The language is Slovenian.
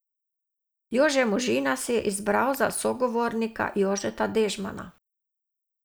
Jože Možina si je izbral za sogovornika Jožeta Dežmana.